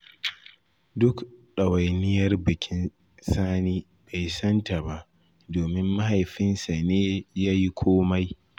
Duk ɗawainiyar bikin Sani bai san ta ba, domin mahaifinsa ne ya yi komai.